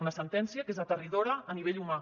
una sentència que és aterridora a nivell humà